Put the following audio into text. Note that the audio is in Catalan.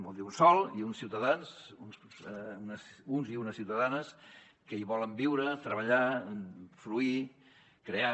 vol dir un sòl i uns ciutadans uns i unes ciutadanes que hi volen viure treballar fruir crear